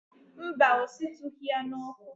Mba, ọ shitughị ya n'ọkụ.